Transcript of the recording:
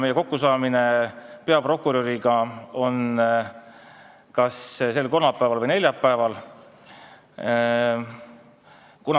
Meie kokkusaamine peaprokuröriga on kas sel kolmapäeval või neljapäeval.